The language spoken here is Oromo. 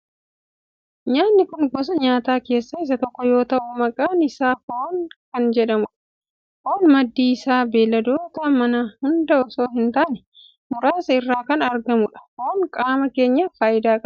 Nyaatni kun gosa nyaataa keessaa isa tokko yoo ta'u maqaan isaa foon kan jedhamudha. Foon maddi isaa beelladoota manaa hunda osoo hin taane muraasa irraa kan argamudha. Foon qaama keenyaf faayidaa qaba.